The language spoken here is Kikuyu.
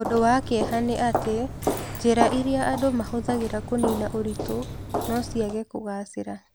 Ũndũ wa kĩeha nĩ atĩ, njĩra irĩa andũ mahũthagĩra kũniina ũritũ no ciage kũgacĩra.